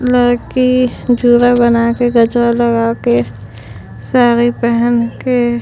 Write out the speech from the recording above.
लड़की जुदा बना के गजरा लगा के साड़ी फान के --